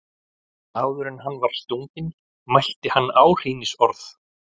Áður en hann var stunginn mælti hann áhrínisorð.